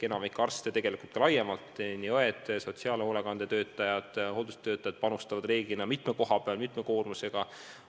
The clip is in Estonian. Enamik arste – tegelikult ka personal laiemalt, st õed, sotsiaalhoolekande töötajad, hooldustöötajad – töötab reeglina mitme koha peal, mitme koormusega.